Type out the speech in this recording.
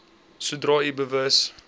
sodra u bewus